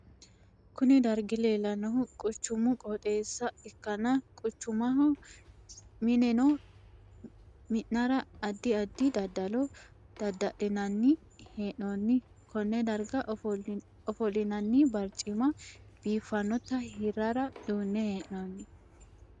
Kunni dargi leelanohu quchumu qooxeesa ikanna quchumaho minoonni minnara addi addi dadalo dada'linnanni hee'noonni Kone darga ofolinnanni barcimimma biifanota hirara duune hee'noonni.